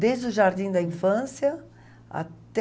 Desde o jardim da infância até...